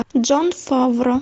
джон фавро